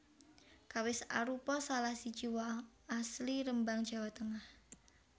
Kawis arupa salah siji woh asli Rembang Jawa Tengah